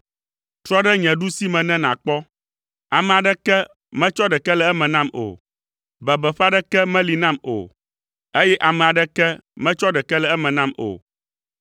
Trɔ ɖe nye ɖusime ne nàkpɔ; ame aɖeke metsɔ ɖeke le eme nam o. Bebeƒe aɖeke meli nam o, eye ame aɖeke metsɔ ɖeke le eme nam o.